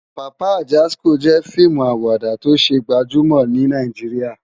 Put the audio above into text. Papa Ajásikó jè fiimú àwádá tó sé gbàjúmò ni Nàijiriá